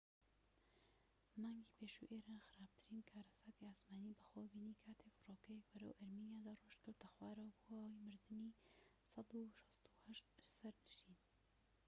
مانگی پێشوو ئێران خراپترین کارەساتی ئاسمانی بەخۆوە بینی کاتێك فڕۆکەیەك بەرەو ئەرمینیا دەڕۆیشت کەوتە خوارەوە و بووە هۆی مردنی ١٦٨ سەرنشین